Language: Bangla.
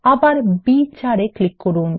আবার B4 এ ক্লিক করুন